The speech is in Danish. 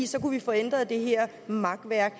så kunne vi få ændret det her makværk